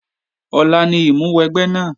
Ọ̀la ni ìmúwẹgbẹ́ náà